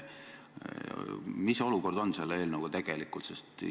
Mis olukord selle eelnõuga tegelikult on?